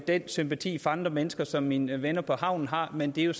den sympati for andre mennesker som mine venner på havnen har men det er jo